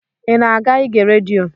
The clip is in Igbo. I na-aga ige redio?